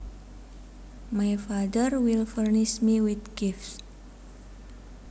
My father will furnish me with gifts